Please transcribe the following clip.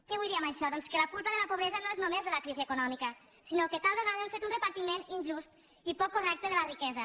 què vull dir amb això doncs que la culpa de la pobresa no és només de la crisi econòmica sinó que tal vegada hem fet un repartiment injust i poc correcte de la riquesa